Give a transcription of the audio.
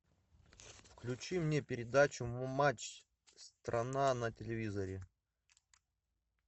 включи мне передачу матч страна на телевизоре